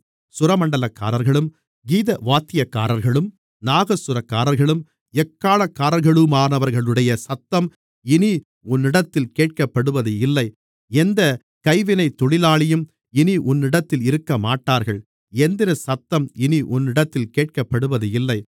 சுரமண்டலக்காரர்களும் கீதவாத்தியக்காரர்களும் நாகசுரக்காரர்களும் எக்காளக்காரர்களுமானவர்களுடைய சத்தம் இனி உன்னிடத்தில் கேட்கப்படுவதுமில்லை எந்தக் கைவினைத் தொழிலாளியும் இனி உன்னிடத்தில் இருக்கமாட்டார்கள் எந்திரசத்தம் இனி உன்னிடத்தில் கேட்கப்படுவதுமில்லை